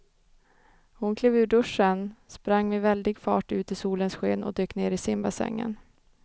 Hon klev ur duschen, sprang med väldig fart ut i solens sken och dök ner i simbassängen.